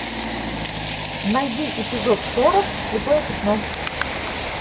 найди эпизод сорок слепое пятно